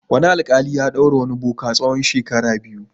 Wani alƙali ya ɗaure wani boka tsawon shekara biyu.